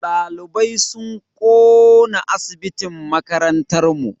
Ɗalibai sun ƙona asibitin makarantar mu.